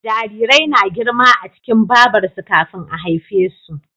Jarirai na girma a cikin Babar su kafin a haife su